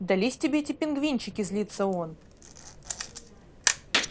дались тебе эти пингвинчики злится он